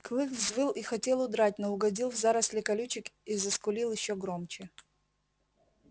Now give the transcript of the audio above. клык взвыл и хотел удрать но угодил в заросли колючек и заскулил ещё громче